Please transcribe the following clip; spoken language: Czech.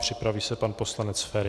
Připraví se pan poslanec Feri.